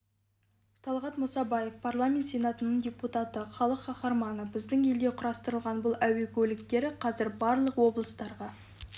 талғат мұсабаев парламент сенатының депутаты халық қаһарманы біздің елде құрастырылатын бұл әуе көліктері қазір барлық облыстарға